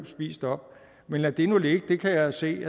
spist op men lad det nu ligge det kan jeg jo se